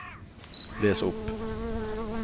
les opp